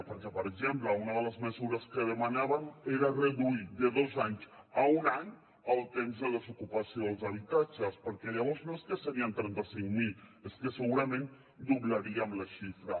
perquè per exemple una de les mesures que demanàvem era reduir de dos anys a un any el temps de desocupació dels habitatges perquè llavors no serien trenta cinc mil és que segurament doblaríem la xifra